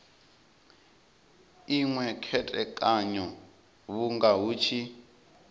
inwe khethekanyo vhunga hu tshi